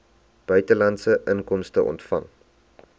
buitelandse inkomste ontvang